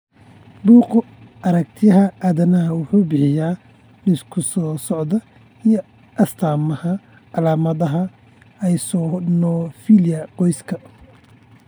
Bugga Aaragtiyaha Aadanaha wuxuu bixiyaa liiska soo socda ee astamaha iyo calaamadaha eosinophilia Qoyska.